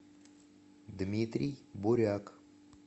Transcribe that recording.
дмитрий буряк